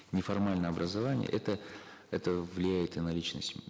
неформальное образование это это влияет и на личность